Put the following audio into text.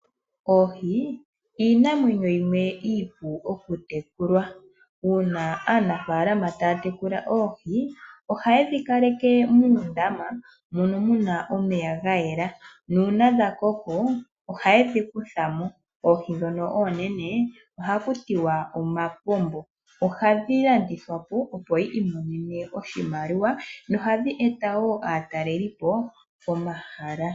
Oohi iinamwenyo yimwe iipu okutekula. Uuna aanafaalama taya tekula oohi ohaye dhi kaleke muundama mono mu na omeya ga yela. Uuna dha koko ohaye dhi kutha mo. Oohi ndhono oonene ohaku tiwa omapombo. Ohadhi landithwa po, opo yi imonene oshimaliwa nohadhi eta wo aatalelipo pomahala.